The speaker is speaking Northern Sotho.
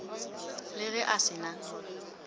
le ge a se na